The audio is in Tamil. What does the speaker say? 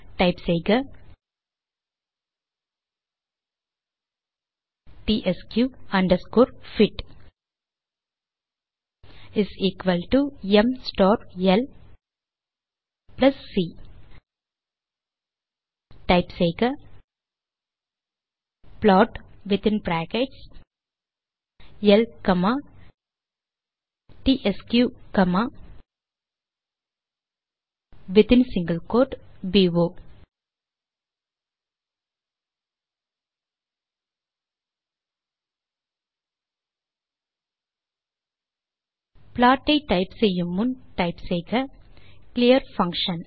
டைப் செய்க டிஎஸ்கியூ அண்டர்ஸ்கோர் பிட் ம் star L plus C type செய்க plot within brackets L comma TSQ comma within single quote போ ப்ளாட் ஐ டைப் செய்யுமுன் டைப் செய்க கிளியர் பங்ஷன்